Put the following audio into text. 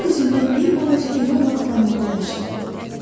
O özündən bir balaca iri olan planetdə yaşayırdı.